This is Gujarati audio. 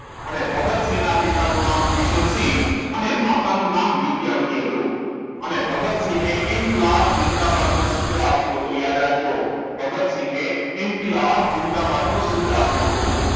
અને ભગતસિંહ ના પિતા નું નામ કિશોરસિંહ અને માતા નું નામ વિદ્યાવતી હતું અને ભગતસિંહ એ ઈન્કીલાબ ઝિંદાબાદ નું સૂત્ર આપ્યું હતું યાદ રાખજો ભગતસિંહે ઈન્કીલાબ ઝિંદાબાદ નું સૂત્ર આપ્યું હતું